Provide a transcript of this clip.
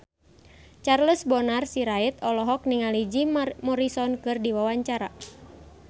Charles Bonar Sirait olohok ningali Jim Morrison keur diwawancara